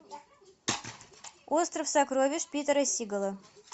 остров сокровищ питера сигала